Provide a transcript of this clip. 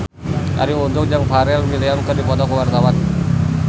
Arie Untung jeung Pharrell Williams keur dipoto ku wartawan